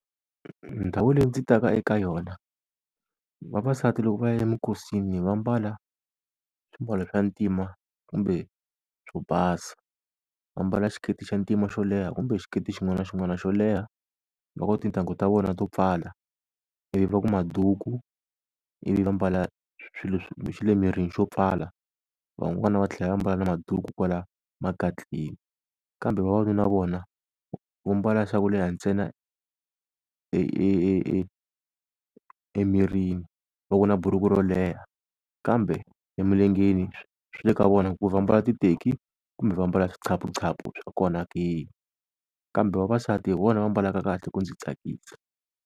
Ndhawu leyi ndzi ta ka eka yona, vavasati loko va ya eminkosini va mbala swimbalo swa ntima kumbe swo basa, vambala xiketi xa ntima xo leha kumbe xiketi xin'wana na xin'wana xo leha, va ku tintangu ta vona to pfala, ivi va ku maduku ivi va mbala swilo swa le mirini xo pfala, van'wana va tlhela va mbala na maduku kwala makatleni. Kambe vavanuna vona va mbala swa ku leha ntsena emirini va ku na buruku ro leha, kambe emilengeni swi le ka vona ku va mbala titeki kumbe va mbala swa kona ke. Kambe vavasati hi vona va mbalaka kahle ku ndzi tsakisa.